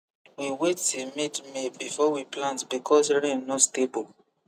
we wait till midmay before we plant because rain no stable